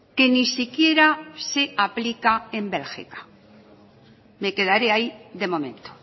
que ni siquiera se aplica en bélgica me quedaré ahí de momento